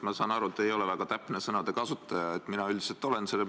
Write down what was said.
Ma saan aru, et te ei ole väga täpne sõnakasutaja, mina üldiselt olen.